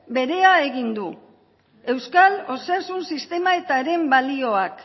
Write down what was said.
berea egin du euskal osasun sistema eta haren balioak